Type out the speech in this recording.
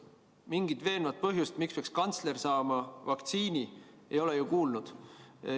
Mingit veenvat põhjust, miks peaks kantsler saama vaktsiini, ei ole ju kuuldud.